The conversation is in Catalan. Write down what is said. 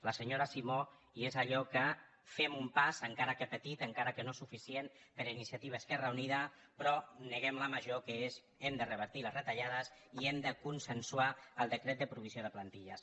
la senyora simó i és allò que fem un pas encara que petit encara que no suficient per iniciativa · esquerra unida però neguem la major que és hem de revertir les retallades i hem de consensuar el decret de provi·sió de plantilles